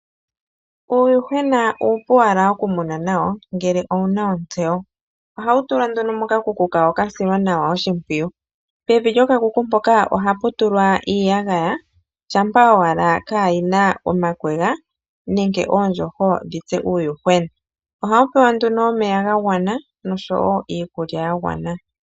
Uuyuhwena uupu okumuna ngele wuna ontseyo. Ohawutulwa mokakuku kawo kasilwa nawa oshimpwiyu, pevi lyokakuku ohaputulwa iiyagaya shampa owala kayina omakegwa nenge oondjoho ndhoka hadhi tsu uuyuhwena ohawupewa omeya gagwana noshowo iikulya yagwana